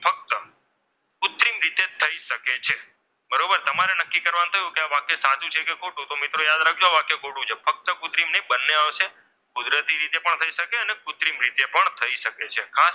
તો આ વાક્ય સાચું છે કે ખોટું તો મિત્રો યાદ રાખજો આ વાક્ય ખોટું છે ફક્ત કૃત્રિમ નહીં બંને આવશે કુદરતી રીતે પણ થઈ શકે અને કૃત્રિમ રીતે પણ થઈ શકે છે.